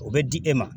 O bɛ di e ma